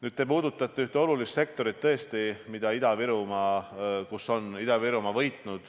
Nüüd, te puudutate ühte olulist sektorit, milles Ida-Virumaa on võitnud.